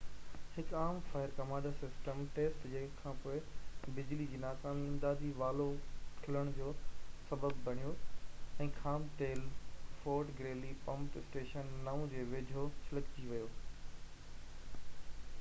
هڪ عام fire command system test جي کان پوءِ بجلي جي ناڪامي امدادي والوو کلڻ جو سسب بڻيو ۽ خام تيل فورٽ گريلي پمپ اسٽيشن 9 جي ويجهو ڇلڪجي ويو